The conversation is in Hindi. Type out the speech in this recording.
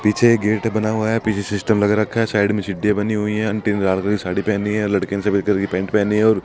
पीछे गेट बना हुआ है पीछे सिस्टम लगा रखा है साइड में सीढ़ियां बनी हुई हैं कलर की साड़ी पहनी है लड़के ने सफेद कलर की पैंट पहनी है और --